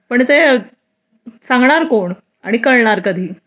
पण ते सांगणार कोण आणि कळणार कधी